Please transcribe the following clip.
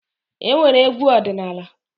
E nwere Egwu ọdịnaala.